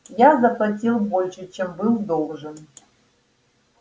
я заплатил больше чем был должен